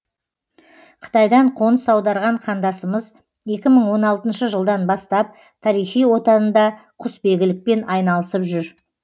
қытайдан қоныс аударған қандасымыз екі мың он алтыншы жылдан бастап тарихи отанында құсбегілікпен айналысып жүр